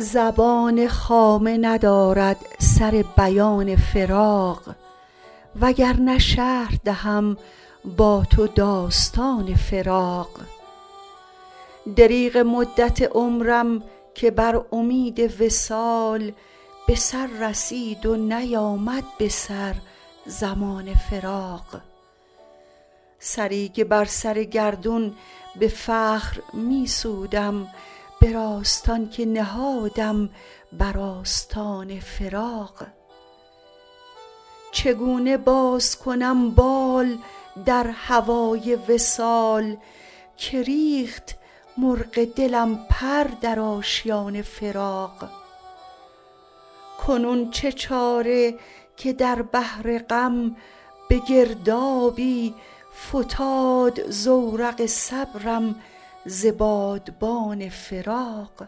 زبان خامه ندارد سر بیان فراق وگرنه شرح دهم با تو داستان فراق دریغ مدت عمرم که بر امید وصال به سر رسید و نیامد به سر زمان فراق سری که بر سر گردون به فخر می سودم به راستان که نهادم بر آستان فراق چگونه باز کنم بال در هوای وصال که ریخت مرغ دلم پر در آشیان فراق کنون چه چاره که در بحر غم به گردابی فتاد زورق صبرم ز بادبان فراق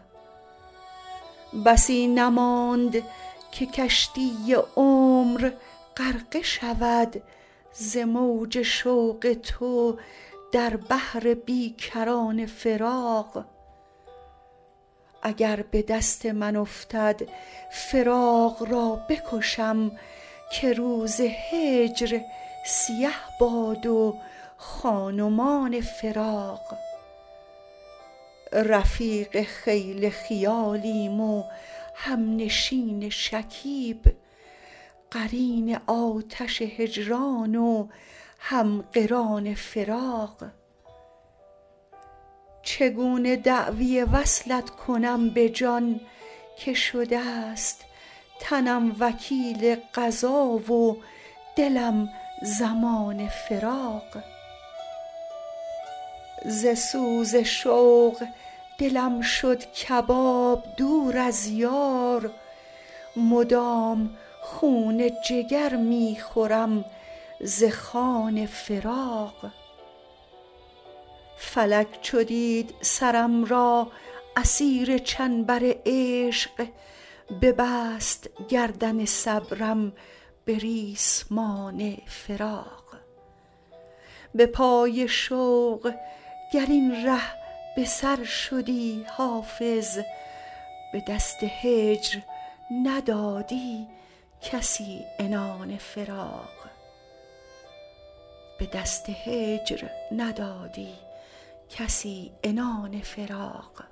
بسی نماند که کشتی عمر غرقه شود ز موج شوق تو در بحر بی کران فراق اگر به دست من افتد فراق را بکشم که روز هجر سیه باد و خان و مان فراق رفیق خیل خیالیم و همنشین شکیب قرین آتش هجران و هم قران فراق چگونه دعوی وصلت کنم به جان که شده ست تنم وکیل قضا و دلم ضمان فراق ز سوز شوق دلم شد کباب دور از یار مدام خون جگر می خورم ز خوان فراق فلک چو دید سرم را اسیر چنبر عشق ببست گردن صبرم به ریسمان فراق به پای شوق گر این ره به سر شدی حافظ به دست هجر ندادی کسی عنان فراق